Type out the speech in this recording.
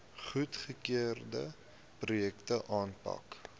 goedgekeurde projekte aanpak